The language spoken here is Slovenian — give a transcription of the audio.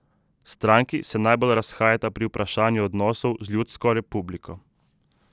Stranki se najbolj razhajata pri vprašanju odnosov z ljudsko republiko.